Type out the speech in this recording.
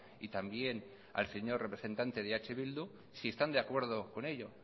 y también al señor representante de eh bildu si están de acuerdo con ello